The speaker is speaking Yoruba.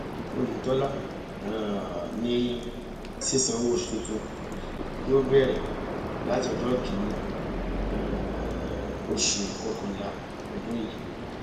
oyetola um ní sísan owóoṣù tuntun yìí yóò bẹrẹ láti ọjọ kìnínní um oṣù kọkànlá ọdún yìí